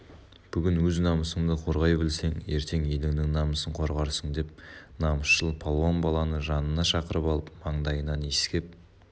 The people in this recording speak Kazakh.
бүгін өз намысыңды қорғай білсең ертең еліңнің намысын қорғарсың деп намысшыл палуан баланы жанына шақырып алып маңдайынан иіскеп